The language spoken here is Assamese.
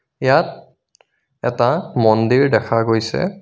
ইয়াত এটা মন্দিৰ দেখা গৈছে.